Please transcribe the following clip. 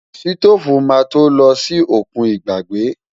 Sítóòfù máa tó lọ sí òkun ìgbàgbé.